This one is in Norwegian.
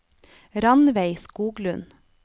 Ranveig Skoglund